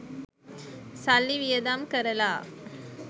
සල්ලි වියදම් කරලා